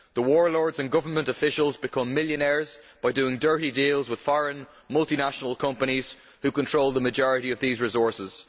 The warlords and government officials become millionaires by doing dirty deals with foreign multinational companies, which control the majority of these resources.